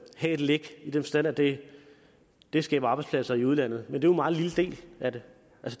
læk i den forstand at det det skaber arbejdspladser i udlandet men det en meget lille del af det